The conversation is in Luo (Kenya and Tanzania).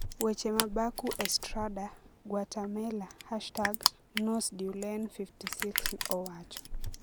Weche ma Baku Estrada - Guatemala #NosDuelen56 owacho